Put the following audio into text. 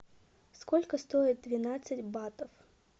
сколько стоит двенадцать батов